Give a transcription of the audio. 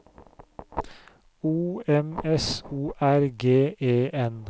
O M S O R G E N